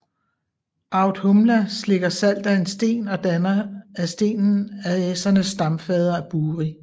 Audhumla slikker salt af en sten og danner af stenen Asernes stamfader Buri